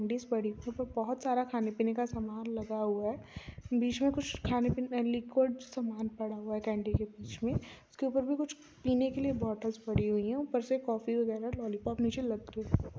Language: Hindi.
बहुत सारा खाने पिने का सामान लगा हुआ है बिच में खाने पिने का लिक्विड सामान पड़ा हुआ कैंडी के बिच में ऊपर भी कुछ पिने के लिए बोत्लस पड़ी हुई है ऊपर से कॉफ़ी बगेरा लोल्लयपोप मुझे लटके--